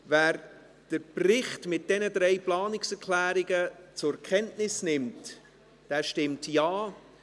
Wer den Bericht mit diesen drei Planungserklärungen zur Kenntnis nimmt, stimmt Ja.